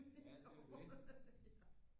Ja det er jo det